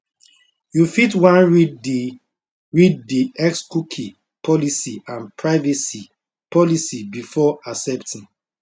you fit wan read di read di xcookie policyandprivacy policybefore accepting